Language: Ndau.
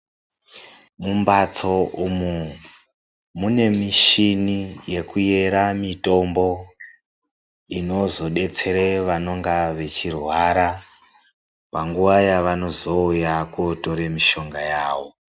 Mumbatso umu mune michini yekuyera mitombo inozodetsere vanonga vechirwara panguwa yevazouya kootore mishonga yawo.